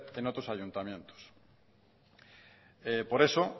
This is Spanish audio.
en otros ayuntamientos por eso